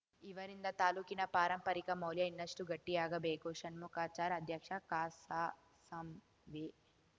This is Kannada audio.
ಇವರಿಂದ ತಾಲೂಕಿನ ಪಾರಂಪರಿಕ ಮೌಲ್ಯ ಇನ್ನಷ್ಟುಗಟ್ಟಿಯಾಗಬೇಕು ಷಣ್ಮುಖಾಚಾರ್‌ ಅಧ್ಯಕ್ಷ ಕಸಾಸಾಂವೇ